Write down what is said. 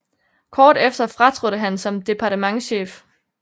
Kort efter fratrådte han som departementschef